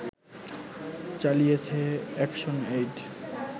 চালিয়েছে এ্যাকশনএইড